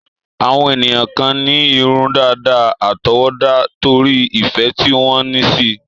Àwọn ènìyàn kan ní irun dàda àtọwọ́dá, torí ìfẹ́ tí wọ́n ní síi.